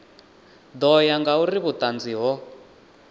ḓo ya ngauri vhuṱanzi ho